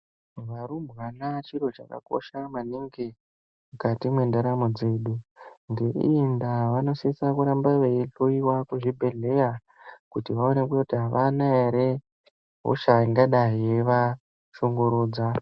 Varumbwana chiro chakakosha maningi mukati mendaramo dzedu. Ngeiyindaa vanosise kuramba veihloyiwa kuzvibhedhlera, kuti vaonekwe kuti havana here hosha ingadai ichivashungurudza.